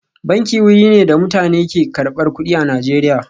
Banki wuri ne da mutane ke zuwa karbar kudi a Najeriya